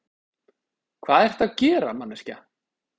Hvað ertu að gera, manneskja?